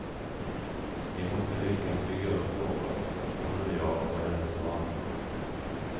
Vi måste lyckas bygga upp något, hon och jag och hennes barn.